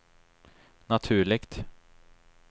naturligt